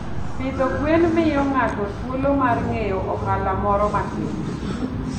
Pidho gwen miyo ng'ato thuolo mar ng'eyo ohala moro matin.